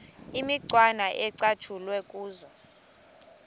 imicwana ecatshulwe kuzo